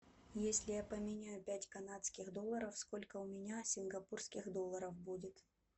если я поменяю пять канадских долларов сколько у меня сингапурских долларов будет